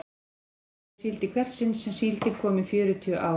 Hún hafði farið í síld í hvert sinn sem síldin kom í fjörutíu ár.